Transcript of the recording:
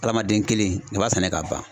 Adamaden kelen i b'a sɛnɛ ka ban.